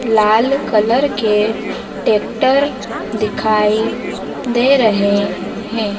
लाल colour के tractor दिखाई दे रहे हैं।